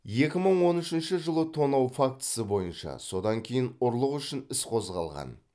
екі мың он үшінші жылы тонау фактісі бойынша содан кейін ұрлық үшін іс қозғалған